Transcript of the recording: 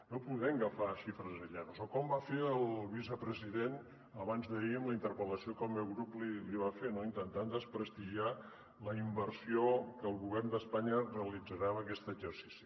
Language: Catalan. no podem agafar xifres aïllades o com va fer el vicepresident abans d’ahir en la interpel·lació que el meu grup li va fer no intentar desprestigiar la inversió que el govern d’espanya realitzarà en aquest exercici